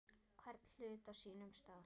Hvern hlut á sínum stað.